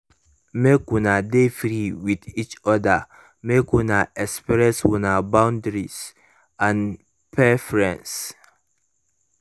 make una de free with each other mk una express una boundaries and preferences